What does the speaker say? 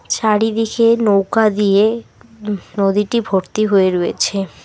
চারিদিকে নৌকা দিয়ে হু নদীটি ভর্তি হয়ে রয়েছে।